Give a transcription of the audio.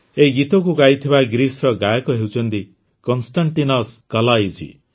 ଏହି ଗୀତକୁ ଗାଇଥିବା ଗ୍ରୀସ୍ର ଗାୟକ ହେଉଛନ୍ତି କନ୍ଷ୍ଟାଂଟିନସ୍ କଲାଇଜୀ